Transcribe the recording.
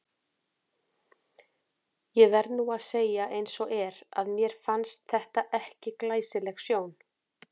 Ég verð nú að segja eins og er, að mér fannst þetta ekki glæsileg sjón.